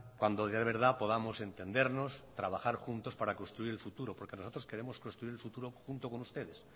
cuando de verdad podamos entendernos trabajar juntos para construir el futuro porque nosotros queremos construir el futuro junto con ustedes